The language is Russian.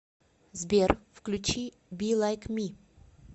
сбер включи би лайк ми